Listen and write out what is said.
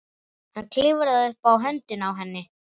Hann klifrar upp á höndina á henni.